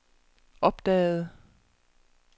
opdagede